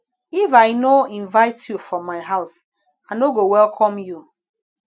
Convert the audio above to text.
if i no invite you for my house i no go welcome you